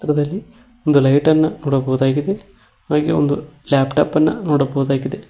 ದಲ್ಲಿ ಒಂದು ಲೈಟ್ ಅನ್ನು ನೋಡಬಹುದಾಗಿದೆ ಹಾಗೆ ಒಂದು ಲ್ಯಾಪ್ಟಾಪ್ ಅನ್ನ ನೋಡಬಹುದಾಗಿದೆ.